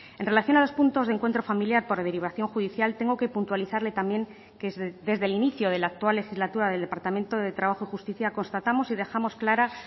en relación a los puntos de encuentro familiar por derivación judicial tengo que puntualizarle también que desde el inicio de la actual legislatura del departamento de trabajo y justicia constatamos y dejamos clara